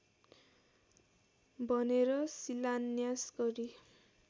भनेर शिलान्यास गरी